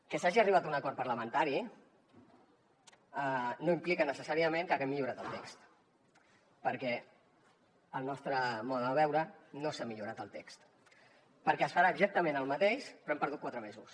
que s’hagi arribat a un acord parlamentari no implica necessàriament que haguem millorat el text perquè al nostre mode de veure no s’ha millorat el text perquè es farà exactament el mateix però hem perdut quatre mesos